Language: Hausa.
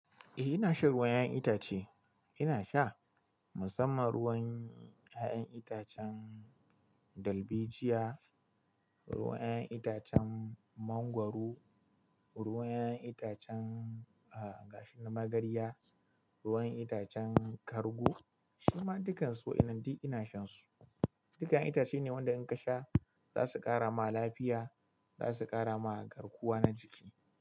Eh ina shan ruwan 'ya'yan itace. Ina sha musamman ruwan 'ya'yan itacen dalbejiya, ruwan 'ya'yan itacen mangwaro, ruwan 'ya'yan itacen,, gashin magarya, ruwan itacen kargu. Shima dukan su wa'inan duk ina shan su. Dukan 'ya'yan itace ne wanda in ka sha za su kara ma lafiya, za su kara ma garkuwa na jiki.